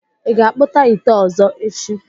Ị ga-akpụta ite ọzọ echi?